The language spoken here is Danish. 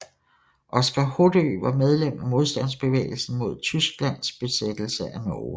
Oskar Hoddø var medlem af modstandsbevægelsen mod Tysklands besættelse af Norge